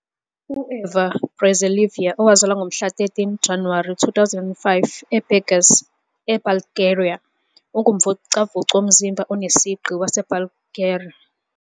U-Eva Brezalieva, owazalwa ngomhla ka-13 Januwari 2005 eBurgas, eBulgaria, ungumvocavoci womzimba onesigqi waseBulgaria.